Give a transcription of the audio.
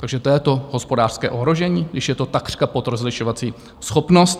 Takže to je to hospodářské ohrožení, když je to takřka pod rozlišovací schopnost?